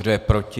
Kdo je proti?